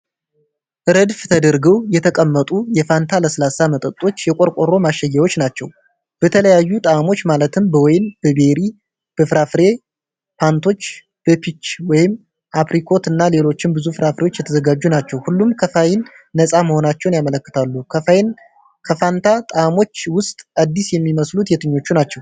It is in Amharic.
ረድፍ ተደርገው የተቀመጡ የፋንታ ለስላሳ መጠጦች የቆርቆሮ ማሸጊያዎች ናቸው። በተለያዩ ጣዕሞች ማለትም በወይን፣ በቤሪ፣ በፍራፍሬ ፓንች፣ በፒች (አፕሪኮት) እና ሌሎች ብዙ ፍራፍሬዎች የተዘጋጁ ናቸው። ሁሉም ከካፌይን ነፃ መሆናቸውን ያመለክታሉ። ከፋንታ ጣዕሞች ውስጥ አዲስ የሚመስሉት የትኞቹ ናቸው?